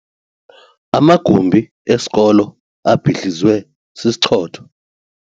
Amagumbi esikolo abhidlizwe sisichotho.